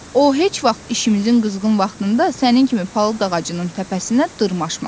O heç vaxt işimizin qızğın vaxtında sənin kimi palıd ağacının təpəsinə dırmaşmaz.